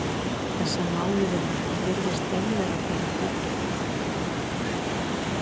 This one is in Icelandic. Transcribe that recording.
Þessa mánuðina virðist einveran honum dýrmæt.